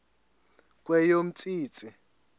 kweyomntsintsi